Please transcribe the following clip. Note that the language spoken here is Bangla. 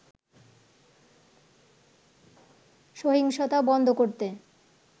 সহিংসতা বন্ধ করতে